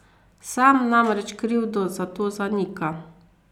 Sam namreč krivdo za to zanika.